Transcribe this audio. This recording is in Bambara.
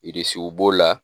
Irisiw b'o la